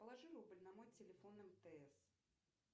положи рубль на мой телефон мтс